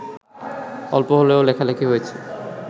অল্প হলেও লেখালেখি হয়েছে